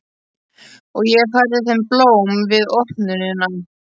Og ég færði þeim blóm við opnunina.